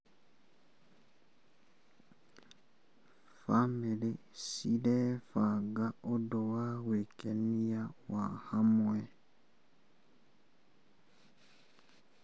Bamĩrĩ cirabanga ũndũ wa gwĩkenia wa hamwe.